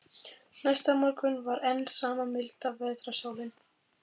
Næsta morgun var enn sama milda vetrarsólin.